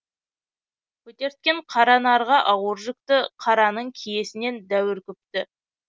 көтерткен қара нарға ауыр жүкті қараның киесінен дәуір күпті